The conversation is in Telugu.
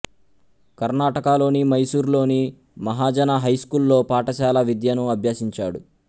కర్ణాటకలోని మైసూర్ లోని మహాజన హై స్కూల్ లో పాఠశాల విద్యను అభ్యసించాడు